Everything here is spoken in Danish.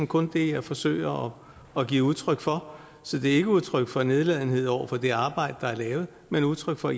kun det jeg forsøger at give udtryk for så det er ikke udtryk for nedladenhed over for det arbejde der er lavet men udtryk for